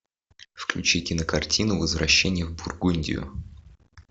включи кинокартину возвращение в бургундию